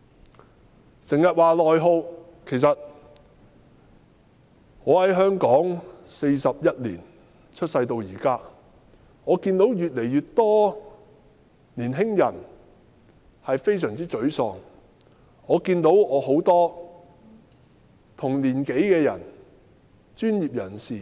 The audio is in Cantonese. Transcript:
經常有人提到內耗，其實我由出世到現在，在香港41年，我看到越來越多年輕人非常沮喪，我看到許多同年紀的人，專業人士